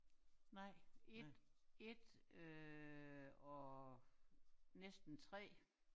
Nej 1 1 øh og næsten 3